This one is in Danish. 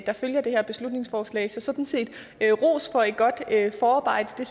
der følger det her beslutningsforslag så sådan set ros for et godt forarbejde det